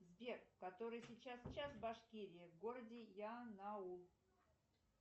сбер который сейчас час в башкирии в городе янаул